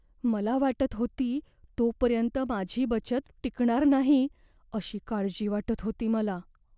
मला वाटत होती तोपर्यंत माझी बचत टिकणार नाही अशी काळजी वाटत होती मला.